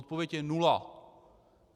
Odpověď je nula.